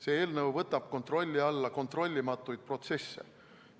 See eelnõu võtab kontrolli alla kontrollimatuid protsesse.